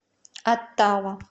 оттава